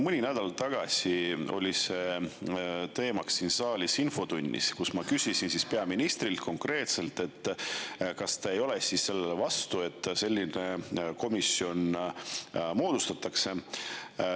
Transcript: Mõni nädal tagasi oli see teemaks siin saalis infotunnis, kus ma küsisin peaministrilt konkreetselt, kas ta ei ole vastu sellele, et selline komisjon moodustatakse.